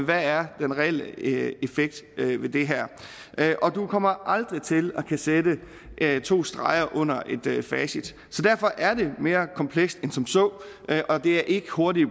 der er den reelle effekt ved det her og du kommer aldrig til at kunne sætte to streger under et facit så derfor er det mere komplekst end som så og det er ikke hurtige